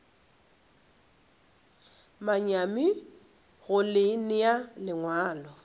manyami go le nea lengwalo